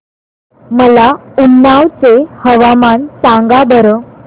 मला उन्नाव चे हवामान सांगा बरं